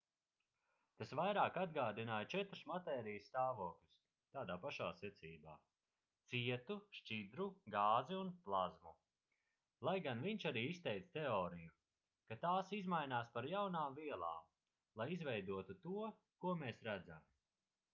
tas vairāk atgādināja četrus matērijas stāvokļus tādā pašā secībā: cietu šķidru gāzi un plazmu lai gan viņš arī izteica teoriju ka tās izmainās par jaunām vielām lai izveidotu to ko mēs redzam